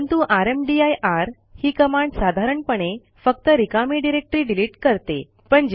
परंतु रामदीर ही कमांड साधारणपणे फक्त रिकामी डिरेक्टरी डिलिट करते